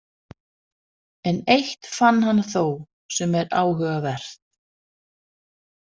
En eitt fann hann þó sem er áhugavert.